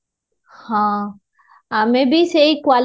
ହଁ, ଆମେ ବି ସେଈ quality